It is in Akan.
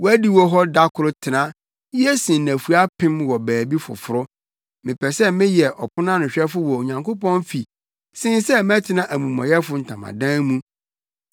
Wʼadiwo hɔ da koro tena ye sen nnafua apem wɔ baabi foforo; mepɛ sɛ mɛyɛ ɔponanohwɛfo wɔ Onyankopɔn fi sen sɛ mɛtena amumɔyɛfo ntamadan mu.